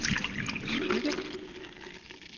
Skygge